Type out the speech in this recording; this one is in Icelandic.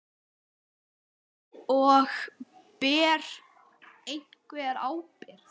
Og: Ber einhver ábyrgð?